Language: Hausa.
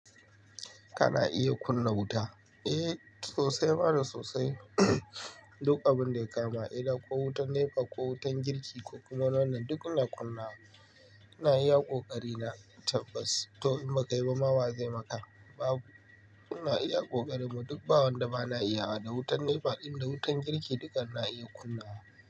Kana iya kunna wuta? Eh sosai, ma da sosai. Duk abin da ya kama, kila ko wutar NEPA ko wutar girki ko kuma wannan, duk ina kunna wa. Ina iya ƙoƙari na tabbas. To, in bakai ba ma wa zai maka babu. Ina iya ƙoƙarina, duk ba wan da ba na iya ba, da wutar NEPA din da wutar girki dukan ina iya kunnawa.